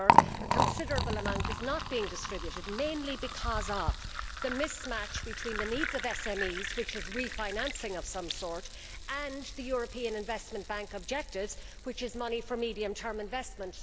However, a considerable amount is not being distributed, mainly because of the mismatch between the needs of SMEs refinancing of some sort and the European Investment Bank objective, which is money for medium term investment.